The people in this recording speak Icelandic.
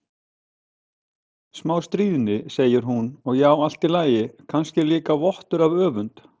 Bara smá stríðni, segir hún, og já, allt í lagi, kannski líka vottur af öfund.